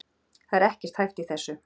Það er ekkert hæft í þessu